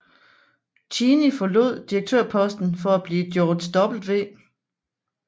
Cheney forlod direktørposten for at blive George W